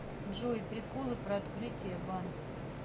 джой приколы про открытие банк